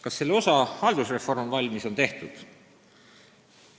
Kas selle osa, haldusreform, on valmis, on tehtud?